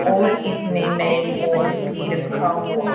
और इसमें मैनफोर्स भी रखा हुआ--